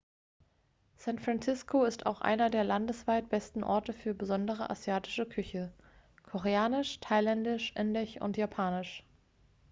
san francisco ist auch einer der landesweit besten orte für andere asiatische küche koreanisch thailändisch indisch und japanisch